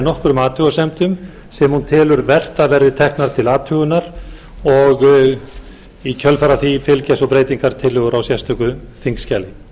nokkrum athugasemdum sem hún telur vert að verði teknar til athugunar og í kjölfar á því fylgja svo breytingartillögur á sérstöku þingskjali